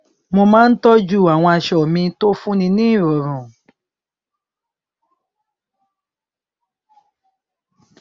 mo má n tọjú àwọn aṣọ mi tó fún ni ní ìrọrùn